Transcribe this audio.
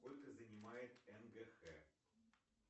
сколько занимает нгх